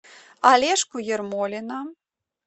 олежку ермолина